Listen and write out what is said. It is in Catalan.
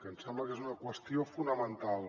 ens sembla que és una qüestió fonamental